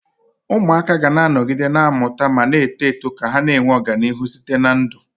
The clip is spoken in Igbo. Ụmụaka ga-anọgide na-amụta ma na-eto eto ka ha na-enwe ọganihu site na ndụ